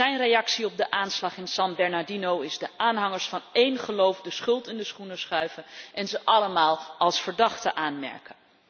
Zijn reactie op de aanslag in San Bernardino is de aanhangers van een geloof de schuld in de schoenen schuiven en ze allemaal als verdachte aanmerken.